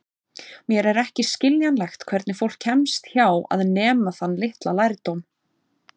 Mér er ekki skiljanlegt hvernig fólk kemst hjá að nema þann litla lærdóm.